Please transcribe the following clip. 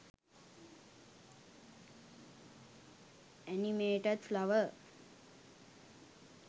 animated flower